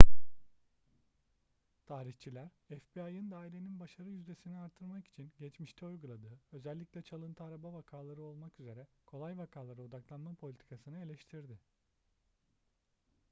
tarihçiler fbi'ın dairenin başarı yüzdesini artırmak için geçmişte uyguladığı özellikle çalıntı araba vakaları olmak üzere kolay vakalara odaklanma politikasını eleştirdi